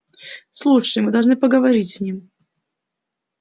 слушай мы должны поговорить с ним